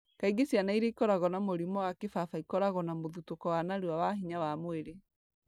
Kaingĩ ciana iria ikoragwo na mũrimũ wa kĩbaba ikoragwo na mũthutũko wa narua wa hinya wa mwĩrĩ,